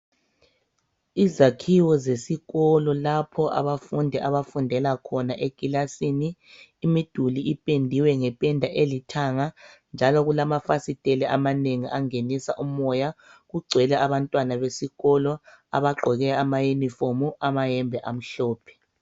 Izakhiwo zesikolo lapho abafundi abafundela khona ekilasini imiduli ipendiwe ngependa elithanga njalo kulama fasiteli amanengi angenisa umoya kugcwele abantwana besikolo abagqoke ama uniform amahembe amhlophe.